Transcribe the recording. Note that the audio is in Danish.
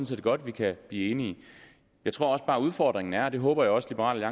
set godt at vi kan blive enige jeg tror bare udfordringen er og det håber jeg også liberal